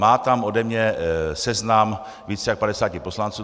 Má tam ode mě seznam více než 50 poslanců.